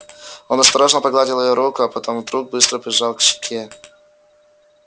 он осторожно погладил её руку а потом вдруг быстро прижал к щеке